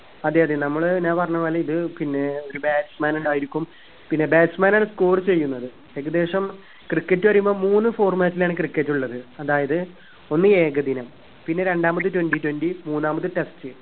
അതെ അതെ നമ്മള് ഞാൻ പറഞ്ഞ പോലെ ഇത് പിന്നെ ഒരു batsman ഉണ്ടായിരിക്കും പിന്നെ batsman ആണ് score ചെയ്യുന്നത് ഏകദേശം cricket പറയുമ്പം മൂന്ന് format ലാണ് cricket ഉള്ളത് അതായത് ഒന്ന് ഏകദിനം പിന്നെ രണ്ടാമത് twenty twenty മൂന്നാമത് test